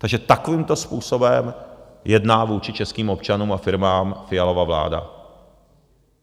Takže takovýmto způsobem jedná vůči českým občanům a firmám Fialova vláda.